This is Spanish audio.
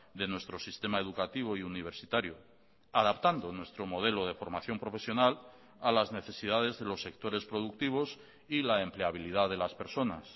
de nuestro sistema educativo y universitario adaptando nuestro modelo de formación profesional a las necesidades de los sectores productivos y la empleabilidad de las personas